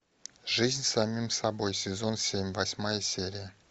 жизнь с самим собой сезон семь восьмая серия